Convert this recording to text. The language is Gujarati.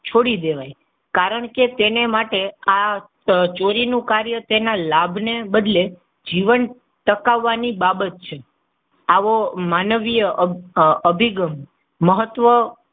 છોડી દેવા. કારણકે તેને માટે આ ચોરી નું કાર્ય તેના લાભને બદલે જીવન ટકાવવા ની બાબત છે. આવો માનવીય અભિગમ મહત્વ,